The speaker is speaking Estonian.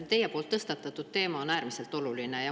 Teie tõstatatud teema on äärmiselt oluline.